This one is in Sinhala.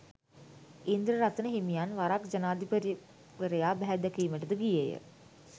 ඉන්ද්‍රරතන හිමියන් වරක් ජනාධිපතිවරයා බැහැදැකීමට ද ගියේය